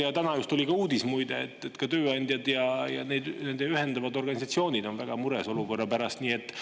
Just täna tuli ka uudis, muide, et tööandjad ja neid ühendavad organisatsioonid on selle olukorra pärast väga mures.